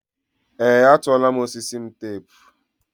ee, atụọla m osisi m teepu.